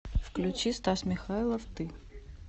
включи стас михайлов ты